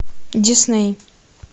дисней